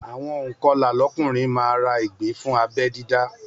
Àwọn ònkọlà lọ́kùnrin máa ra ìgbín fún abẹ́ dídá